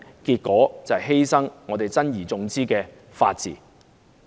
便是犧牲我們珍而重之的法治。